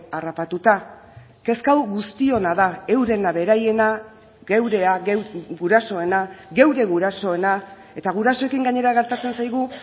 harrapatuta kezka hau guztiona da eurena beraiena geurea gurasoena geure gurasoena eta gurasoekin gainera gertatzen zaigu